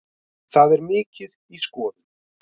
Það er mikið í skoðun.